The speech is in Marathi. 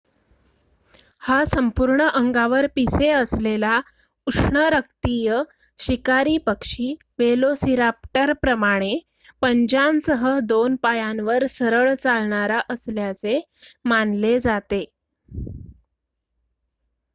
हा संपूर्ण अंगावर पिसे असलेला उष्णरक्तीय शिकारी पक्षी वेलोसिराप्टरप्रमाणे पंजांसह दोन पायांवर सरळ चालणारा असल्याचे मानले जाते